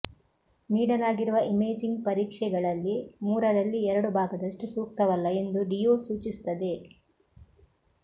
ನೀಡಲಾಗಿರುವ ಇಮೇಜಿಂಗ್ ಪರೀಕ್ಷೆಗಳಲ್ಲಿ ಮೂರರಲ್ಲಿ ಎರಡು ಭಾಗದಷ್ಟು ಸೂಕ್ತವಲ್ಲ ಎಂದು ಡಿಯೋ ಸೂಚಿಸುತ್ತದೆ